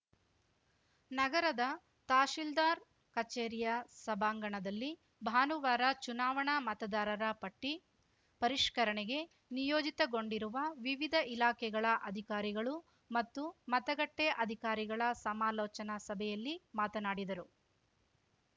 ನಗರದ ತಹಶಿಲ್ದಾರ್‌ ಕಚೇರಿಯ ಸಭಾಂಗಣದಲ್ಲಿ ಭಾನುವಾರ ಚುನಾವಣಾ ಮತದಾರರ ಪಟ್ಟಿಪರಿಷ್ಕರಣೆಗೆ ನಿಯೋಜಿತಗೊಂಡಿರುವ ವಿವಿಧ ಇಲಾಖೆಗಳ ಅಧಿಕಾರಿಗಳು ಮತ್ತು ಮತಗಟ್ಟೆಅಧಿಕಾರಿಗಳ ಸಮಾಲೋಚನಾ ಸಭೆಯಲ್ಲಿ ಮಾತನಾಡಿದರು